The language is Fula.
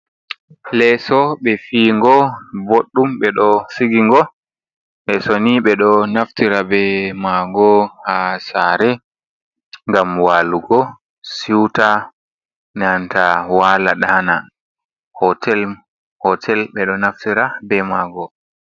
Lesso ɓe fi go ɓoɗɗum ɓe ɗo sigingo, lesso ni ɓe ɗo naftira be mago ha share gam walugo siuta nanta wala ɗana, hotel ɓe ɗo naftira be mago.